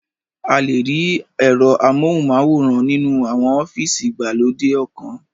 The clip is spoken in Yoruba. A le rí ẹ̀rọ amóhùnmáwòrán nínú àwọn ọ́fìsì ìgbàlódé ọkan